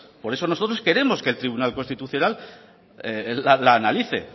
por eso nosotros que el tribunal constitucional la analice